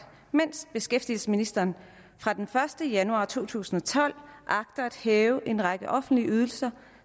mens beskæftigelsesministeren fra den første januar to tusind og tolv agter at hæve en række offentlige ydelser